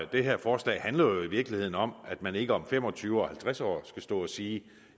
det her forslag handler jo i virkeligheden om at man ikke om fem og tyve og halvtreds år skal stå og sige